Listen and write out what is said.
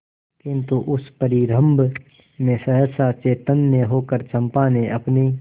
किंतु उस परिरंभ में सहसा चैतन्य होकर चंपा ने अपनी